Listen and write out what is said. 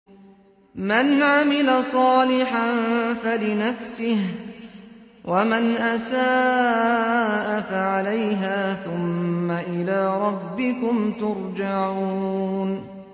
مَنْ عَمِلَ صَالِحًا فَلِنَفْسِهِ ۖ وَمَنْ أَسَاءَ فَعَلَيْهَا ۖ ثُمَّ إِلَىٰ رَبِّكُمْ تُرْجَعُونَ